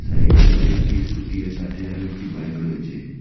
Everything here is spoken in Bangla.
সাইটে আরও একটি স্কুটি আর সাতে আরও একটি বাইক রয়েছে।